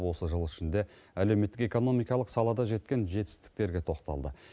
осы жыл ішінде әлеуметтік экономикалық салада жеткен жетістіктерге тоқталды